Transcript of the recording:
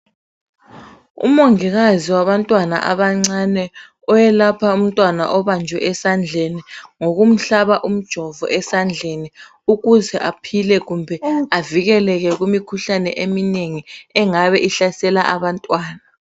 Umongikazi wabantwana abancane ,owelapha umntwana obanjwe esandleni ngokumhlaba umjovo esandleni ukuze aphile kumbe avikeleke kumikhuhlane eminengi engabe ihlasela abantwana.